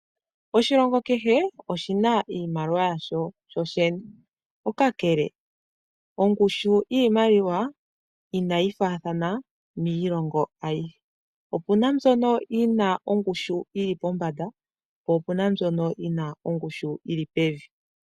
Oshilongo kehe oshi na iimaliwa yasho shoshene, kakele ongushu yiimaliwa inayi faathana miilongo ayihe. Opu na mbyono yi na ongushu yi li pombanda, po opu na mbyono yi na ongushu yi li pevi.